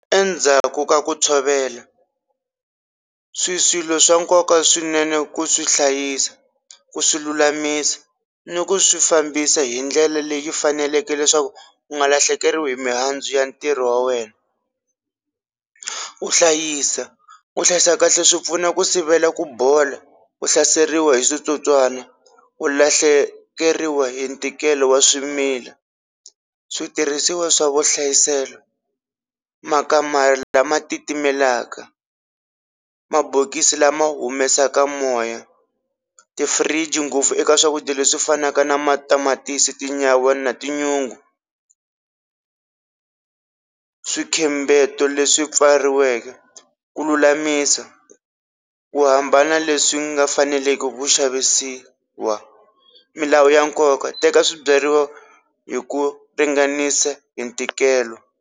Endzhaku ka ku tshovela swi swilo swa nkoka swinene ku swi hlayisa ku swi lulamisa ni ku swi fambisa hi ndlela leyi faneleke leswaku u nga lahlekeriwi hi mihandzu ya ntirho wa wena, u hlayisa u hlayisa kahle swi pfuna ku sivela ku bola, u hlaseriwa hi switsotswana u lahlekeriwa hi ntikelo wa swimila, switirhisiwa swa vuhlayiselo makamara lama titimelaka, mabokisi lama humesaka moya, ti-fridge ngopfu eka swakudya leswi fanaka na matamatisi, tinyawa, na tinyungu, swikhembeto leswi pfariweke ku lulamisa ku hambana leswi nga faneleki ku xavisiwa, milawu ya nkoka teka swibyariwa hi ku ringanisa hi ntikelo.